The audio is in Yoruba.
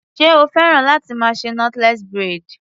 Ṣé o fẹ́ràn láti máa ṣe knotless braid?